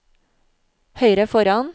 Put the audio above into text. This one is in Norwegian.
høyre foran